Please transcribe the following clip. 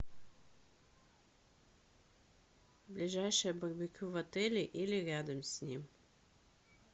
ближайшее барбекю в отеле или рядом с ним